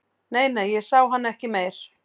Nei, nei, ég sá hann ekki meir